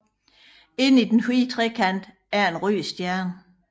Inde i den hvide trekant er en rød stjerne